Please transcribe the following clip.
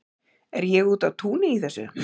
er ég úti á túni í þessu